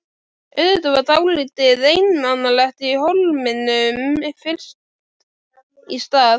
Auðvitað var dálítið einmanalegt í Hólminum fyrst í stað.